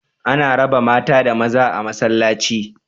Ana raba mata da maza a masallaci